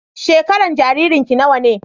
Shekaran jaririn ki nawa ne?